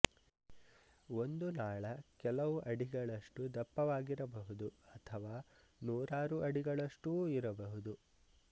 ಒಂದು ನಾಳ ಕೆಲವು ಅಡಿಗಳಷ್ಟು ದಪ್ಪವಾಗಿರಬಹುದು ಅಥವಾ ನೂರಾರು ಅಡಿಗಳಷ್ಟೂ ಇರಬಹುದು